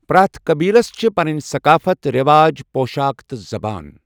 پرٛٮ۪تھ قٔبیٖلس چھِ پنٕنہِ شقافت ، رٮ۪واج، پۄشاک تہٕ زبان۔